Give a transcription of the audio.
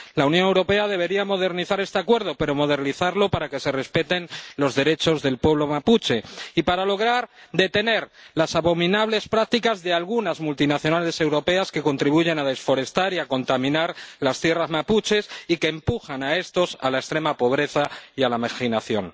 La Unión Europea debería modernizar este Acuerdo, pero modernizarlo para que se respeten los derechos del pueblo mapuche y para lograr detener las abominables prácticas de algunas multinacionales europeas, que contribuyen a desforestar y a contaminar las tierras mapuches y que empujan a sus habitantes a la extrema pobreza y a la marginación.